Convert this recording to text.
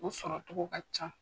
O sɔrɔ togo ka ca.